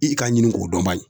I ka ɲini k'o dɔn bayi.